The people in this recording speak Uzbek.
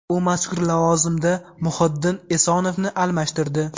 U mazkur lavozimda Muhiddin Esonovni almashtirdi.